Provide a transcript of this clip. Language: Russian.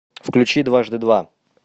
включи дважды два